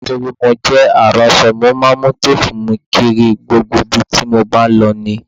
Nítorí mo jẹ aránṣọ, mo máa ń mu téèbù mi kiri gbogbo ibi tí mo bá lọ ní